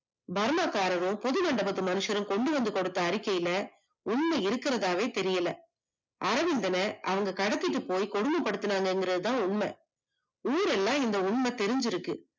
Burma காரரும் புது மண்டபத்து மனுசரும் கொண்டுவந்த கொடுத்த அறிக்கைல உண்மை இருக்குரதாவே தெரியல, அரவிந்தன அவங்க கடத்திட்டு போய் கொடும படுத்துனாங்க கிறதுதான் உண்ம, ஊரெல்லாம் இந்த உண்ம தெரிஞ்சு இருக்கு